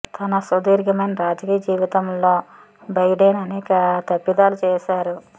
తన సుదీర్ఘమైన రాజకీయ జీవితంలో బైడెన్ అనేక తప్పిదాలు చేశారు